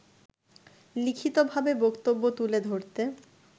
লিখিতভাবে বক্তব্য তুলে ধরতে